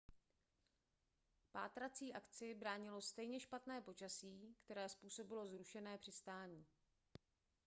pátrácí akci bránilo stejně špatné počasí které způsobilo zrušené přistání